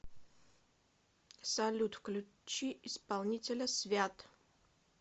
салют включи исполнителя свят